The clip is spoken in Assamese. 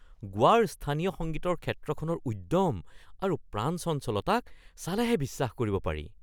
গোৱাৰ স্থানীয় সংগীতৰ ক্ষেত্ৰখনৰ উদ্যম আৰু প্ৰাণচঞ্চলতাক চালেহে বিশ্বাস কৰিব পাৰি।